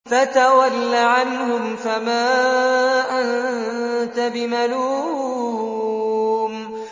فَتَوَلَّ عَنْهُمْ فَمَا أَنتَ بِمَلُومٍ